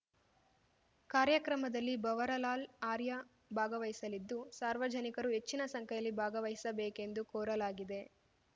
ಕಾರ್ಯಕ್ರಮದಲ್ಲಿ ಭವರಲಾಲ್‌ ಆರ್ಯ ಭಾಗವಹಿಸಲಿದ್ದು ಸಾರ್ವಜನಿಕರು ಹೆಚ್ಚಿನ ಸಂಖ್ಯೆಯಲ್ಲಿ ಭಾಗವಹಿಸಬೇಕೆಂದು ಕೋರಲಾಗಿದೆ